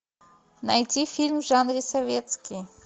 найти фильм в жанре советский